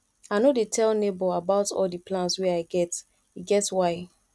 i no dey tell nebor about all di plans wey i get e get why